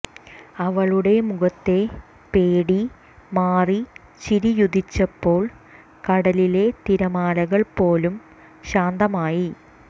അവളുടെ മുഖത്തെ പേടി മാറി ചിരിയുദിച്ചപ്പോൾ കടലിലെ തിരമാലകൾ പോലും ശാന്തമായി